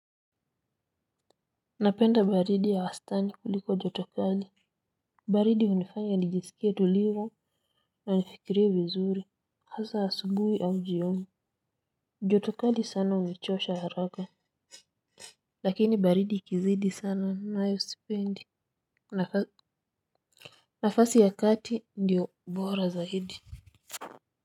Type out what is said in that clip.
Napenda baridi ya wastani kuliko joto kali, baridi hunifanya nijisikie tulivu na nifikirie vizuri, hasa asubuhi au jioni, joto kali sana hunichosha haraka, lakini baridi ikizidi sana nayo sipendi, nafasi ya kati ndio bora zaidi.